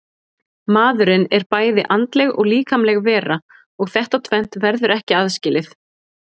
Maðurinn er bæði andleg og líkamleg vera og þetta tvennt verður ekki aðskilið.